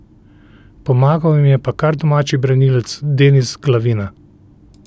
Pomagal jim je pa kar domači branilec Denis Glavina.